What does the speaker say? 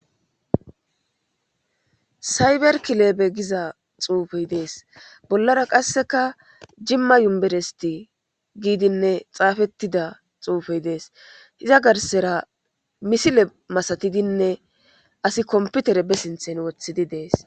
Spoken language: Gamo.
sayberkileebe giza xuufey dees bollara qasseka jimma yumberesti giidinne xaafettida xuufey dees hiza garsera misile masatidinne asi komputere be sinthen wothidi dees